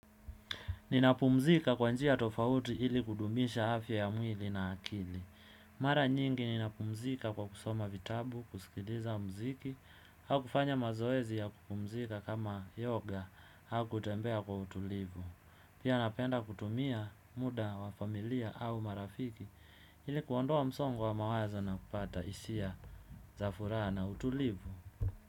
Ninapumzika kwa njia tofauti ili kudumisha, afya ya mwili na akili. Mara nyingi ninapumzika kwa kusoma vitabu, kusikiliza mziki, au kufanya mazoezi ya kupumzika kama yoga, au kutembea kwa utulivu. Pia napenda kutumia, muda wa familia au marafiki, ili kuondoa msongo wa mawazo na kupata hisia, za furaha na utulivu.